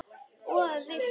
Og vilt hvað?